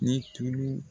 Ni tulu